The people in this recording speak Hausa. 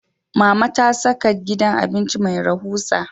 Mama ta saka gidan abinci mai rahusa